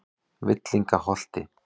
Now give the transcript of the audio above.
Villingaholti